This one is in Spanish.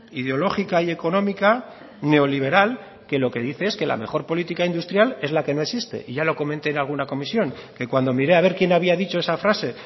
ideológica y económica neoliberal que lo que dice es la mejor política industrial es la que no existe y yo lo comenté en alguna comisión que cuando miré a ver quién había dicho esa frase